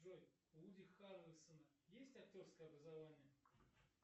джой у вуди харрельсона есть актерское образование